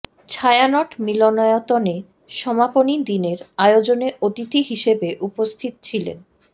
ছায়ানট মিলনায়তনে সমাপনী দিনের আয়োজনে অতিথি হিসেবে উপস্থিত ছিলেন